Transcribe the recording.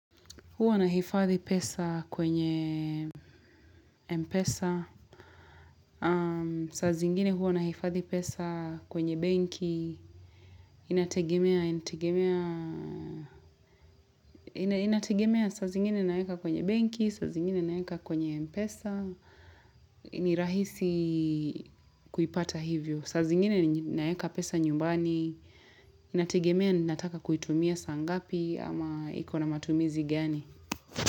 Huwa nahifadhi pesa kwenye Mpesa, saa zingine huwa nahifadhi pesa kwenye benki, inategemea saa zingine naeka kwenye benki, saa zingine naeka kwenye Mpesa, ni rahisi kuipata hivyo, saa zingine naeka pesa nyumbani, inategemea nataka kuitumia saa ngapi ama iko na matumizi gani.